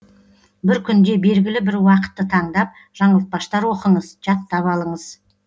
бір күнде белгілі бір уақытты таңдап жаңылтпаштар оқыңыз жаттап алыңыз